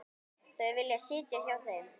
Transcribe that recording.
Þau vilja sitja á þeim.